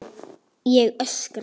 Ég öskra.